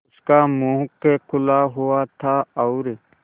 उसका मुख खुला हुआ था और